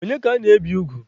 Onye ka ana-ebi ugwu?